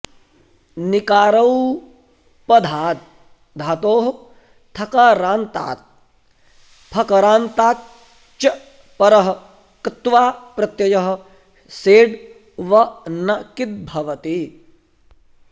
निकारौपधाद् धातोः थकारान्तात् फकरान्ताच् च परः क्त्वा प्रत्ययः सेड् व न किद् भवति